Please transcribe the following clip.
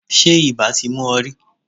Ṣé ibà ti mú ọ rí?